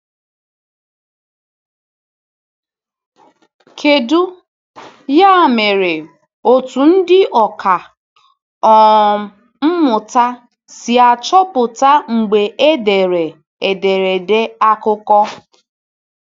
Kedu, ya mere, otú ndị ọkà um mmụta si achọpụta mgbe e dere ederede akụkọ?